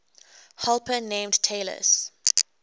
helper named talus